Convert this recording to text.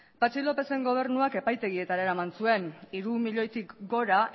patxi lópezen gobernuak epaitegietara eraman zuen hiru milioitik gora